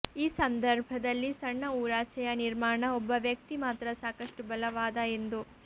ಈ ಸಂದರ್ಭದಲ್ಲಿ ಸಣ್ಣ ಊರಾಚೆಯ ನಿರ್ಮಾಣ ಒಬ್ಬ ವ್ಯಕ್ತಿ ಮಾತ್ರ ಸಾಕಷ್ಟು ಬಲವಾದ ಎಂದು